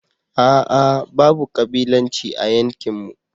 ah ah babu kabilanci a yankinmu.